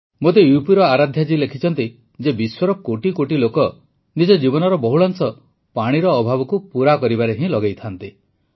ମୋତେ ୟୁପିର ଆରାଧ୍ୟା ଜୀ ଲେଖିଛନ୍ତି ଯେ ବିଶ୍ୱର କୋଟିକୋଟି ଲୋକ ନିଜ ଜୀବନର ବହୁଳାଂଶ ପାଣିର ଅଭାବକୁ ପୂରା କରିବାରେ ହିଁ ଲଗାଇଥାନ୍ତି